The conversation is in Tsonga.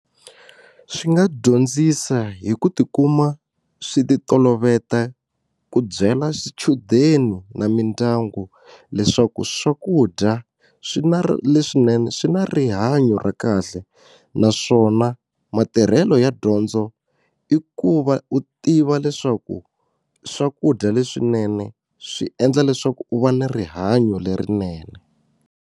Swi nga dyondzisa hi ku tikuma swi ti toloveta ku byela swichudeni na mindyangu leswaku swakudya swi na leswinene swi na rihanyo ra kahle naswona matirhelo ya dyondzo i ku va u tiva leswaku swakudya leswinene swi endla leswaku u va na rihanyo lerinene.